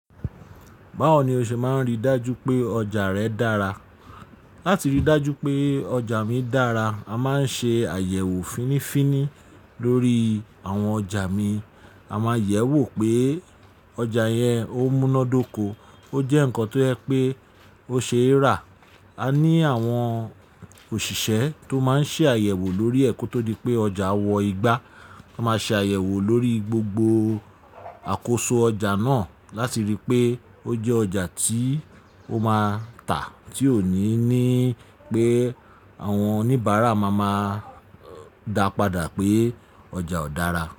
Báwo ni o ṣe máa ń rí dájú pé ọjà rẹ dára? Láti rí dájú pé ọjà mi dára, a máa ń ṣe àyẹ̀wò fínífíní lórí àwọn ọjà mi. A máa yẹ̀ wò pé ọjà yẹn ó múnádóko, ó jẹ́ nǹkan tó yẹ pé ó ṣe é rà. A ní àwọn òṣìṣẹ́ tó máa ń ṣe àyẹ̀wò lórí ẹ̀ kó tó di pé ọjà wọ igbá. Wọ́n máa ṣe àyẹ̀wò lórí gbogbo àkóso ọjà náà láti rí pé ó jẹ́ ọjà tí ó máa tà tí ò ní ní pé àwọn oníbàárà máa máa dàpadà pé ọjà ò dára.